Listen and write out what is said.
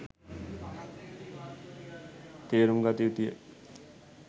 තේරුම් ගත යුතු ය.